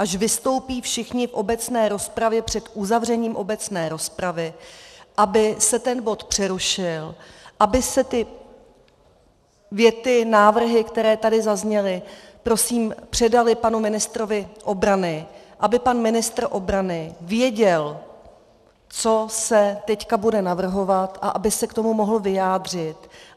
Až vystoupí všichni v obecné rozpravě před uzavřením obecné rozpravy, aby se ten bod přerušil, aby se ty věty, návrhy, které tady zazněly, prosím, předaly panu ministrovi obrany, aby pan ministr obrany věděl, co se teď bude navrhovat, a aby se k tomu mohl vyjádřit.